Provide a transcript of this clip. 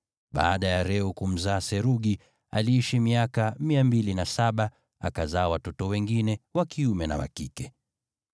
Baada ya Reu kumzaa Serugi, aliishi miaka 207, akazaa watoto wengine wa kiume na wa kike.